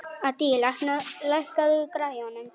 Addý, lækkaðu í græjunum.